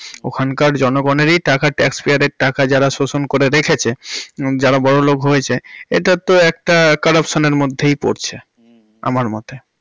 ওখানকার জনগণেরই টাকা, tax payer এর টাকা যারা শোষণ করে রেখেছে যারা বড়লোক হয়েছে এটা তো একটা corruption এর মধ্যেই পড়ছে, হুম হুম, আমার মতে।